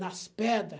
Nas pedra.